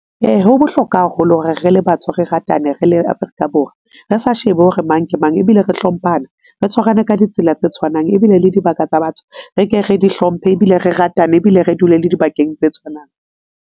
Ee, ho bohlokwa haholo hore re le batho re ratane re le Afrika Borwa re sa shebe hore mang ke mang. Ebile re hlomphana, re tshwarane ka ditsela tse tshwanang ebile le dibaka tsa batho re ke re di hlomphe ebile re ratane ebile re dule le dibakeng tse tshwanang.